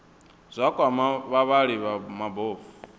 zwa kwama vhavhali vha mabofu